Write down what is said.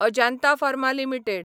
Ajanta pharma limited